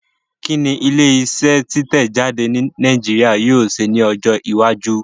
Kí ni ilé iṣẹ́ títẹ̀ jáde ní Nàìjíríà yóò ṣe ní ọjọ́ iwájú?